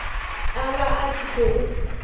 a vha a tshi khou